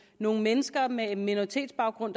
nogle mennesker med en minoritetsbaggrund